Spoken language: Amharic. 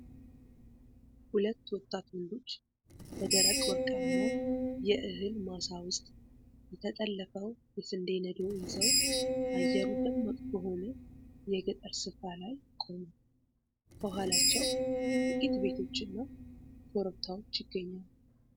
ሁለት ወጣት ወንዶች በደረቀ ወርቃማ የእህል ማሳ ውስጥ በተጠለፈው የስንዴ ነዶ ይዘው አየሩ ደማቅ በሆነ የገጠር ስፍራ ላይ ቆመዋል። ከኋላቸው ጥቂት ቤቶችና ኮረብታዎች ይገኛሉ።